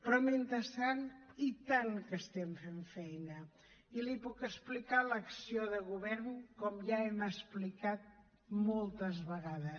però mentrestant i tant que estem fent feina i li puc explicar l’acció de govern com ja hem explicat moltes vegades